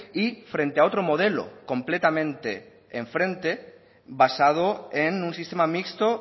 y frente a otro modelo complemente en frente basado en un sistema mixto